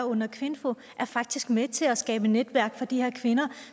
under kvinfo faktisk er med til at skabe netværk for de her kvinder